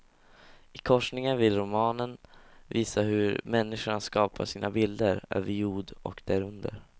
I korsningen vill romanen visa hur människan skapar sina bilder, över jord och därunder.